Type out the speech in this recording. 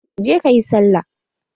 Je ka yi sallah!